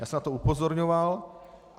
Já jsem na to upozorňoval.